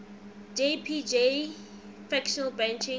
jpg fractal branching